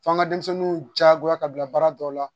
F'an ka denmisɛnninw diyagoya ka bila baara dɔw la